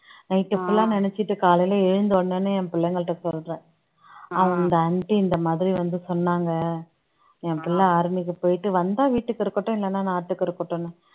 night full ஆ நினைச்சுட்டு காலையில எழுந்தவுடனே என் பிள்ளைங்கள்ட்ட சொல்றேன் அந்த aunty இந்த மாதிரி வந்து சொன்னாங்க என் பிள்ளை army க்கு போயிட்டு வந்தா வீட்டுக்கு இருக்கட்டும் இல்லைன்னா நாட்டுக்கு இருக்கட்டுன்னு